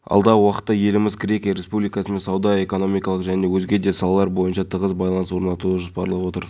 алып бердік бұдан бөлек біз қамқорлыққа алған үшқұлын және максимовка ауылдарының мектептеріне павлодар қаласының бірқатар